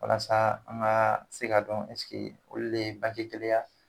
Walasa an ka se ka dɔn olu de ye kelen ye a?